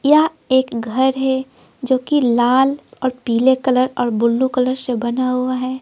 यह एक घर है जो कि लाल और पीले कलर और ब्लू कलर से बना हुआ है।